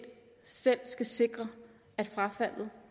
selv skal sikre at frafaldet